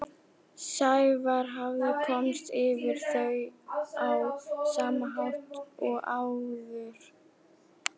Sævar hafði komist yfir þau á sama hátt og áður.